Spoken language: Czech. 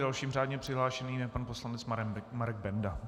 Dalším řádně přihlášeným je pan poslanec Marek Benda.